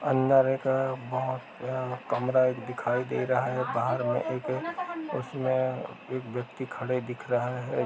अंदर एक बहुत बड़ा कमरा दिखाइ दे रहा है बाहार मै एक एक उसमें एक व्यक्ति खड़े दिख रहा है।